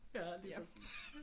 Ja lige præcis